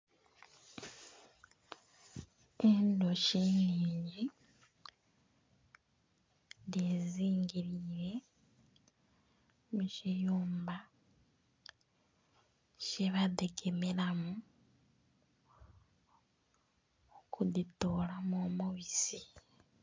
Endhuki nnhingi dhezingiliire mu kiyumba kyebadhigemeramu okudhitoolamu omubisi.